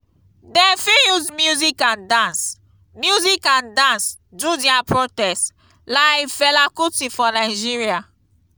dem fit use music and dance music and dance do their protest like fela kuti for nigeria